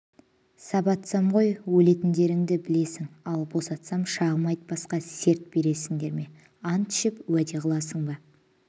сабатсам ғой өлетіндерінді білесің ал босатсам шағым айтпасқа серт бересіндер ме ант ішіп уәде қыласың ба